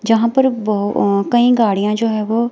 जहां पर कहीं गाड़ियां जो है वो--